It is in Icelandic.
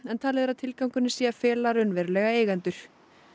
en talið er að tilgangurinn sé að fela raunverulega eigendur